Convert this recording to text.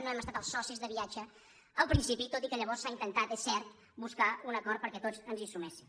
no hem estat els socis de viatge al principi tot i que lla·vors s’ha intentat és cert buscar un acord perquè tots ens hi suméssim